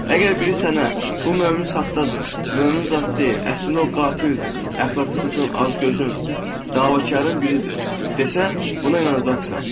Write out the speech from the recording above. Əgər biri sənə bu mömin saxtadır, mömin zad deyil, əslində o qatildir, əxlaqsızın, azgözün, davakarın biridir desə, buna inanacaqsan.